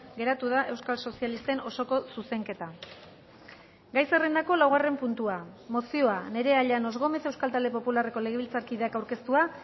geratu da euskal sozialisten osoko zuzenketa gai zerrendako laugarren puntua mozioa nerea llanos gómez euskal talde popularreko legebiltzarkideak aurkeztua